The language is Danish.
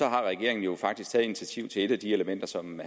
har regeringen jo faktisk taget initiativ til et af de elementer som